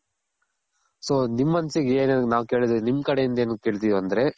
so ನಿಮ್ ಮನ್ಸಿಗ್ ಏನ್ ನಾವ್ ಕೇಳೋದ್ ನಿಮ್ ಕಡೆ ಇಂದ ಏನುಕ್ಕೆ ಕೇಳ್ತಿವ್ ಅಂದ್ರೆ